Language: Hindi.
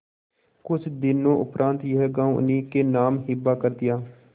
कुछ दिनों उपरांत यह गॉँव उन्हीं के नाम हिब्बा कर दिया